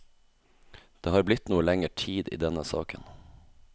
Det har blitt noe lenger tid i denne saken.